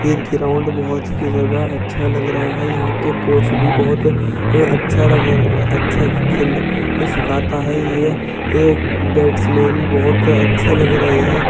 ये ग्राउंड बहोत ही ज्यादा अच्छा लग रहा है। यहां के कोच भी बहोत अ अच्छा लग अ अच्छा खेल सिखाता है। ये एक बैट्स्मन भी बहोत अच्छे लग रहे है।